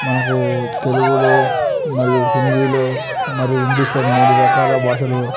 ఇక్కడ మనకి చాల బాషలు ఇంగ్కిష్ తెలుగు లో ఉన్జ్ఞాయ్ .